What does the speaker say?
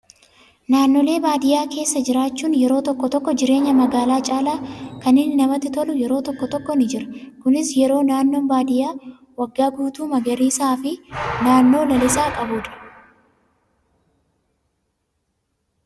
Naannolee baadiyyaa keessa jiraachuun yeroo tokko tokko jireenya magaalaa caalaa kan inni namatti tolu yeroo tokko tokko ni jira. Kunis yeroo naannoon baadiyyaa waggaa guutuu magariisaa fi naannoo lalisaa qabudha.